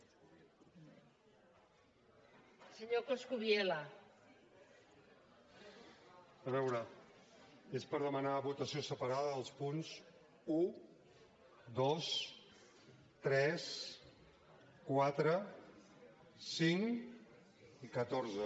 a veure és per demanar votació separada dels punts un dos tres quatre cinc i catorze